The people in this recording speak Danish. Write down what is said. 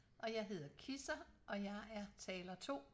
Og jeg hedder Kisser og jeg er taler 2